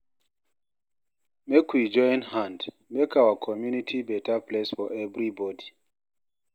Make we join hand, make our community beta place for everybodi.